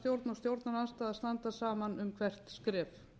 stjórnarandstaða að standa saman um hvert skref